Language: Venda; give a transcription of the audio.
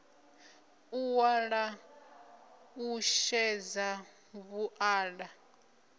u ṅwala u xedza vhuṱala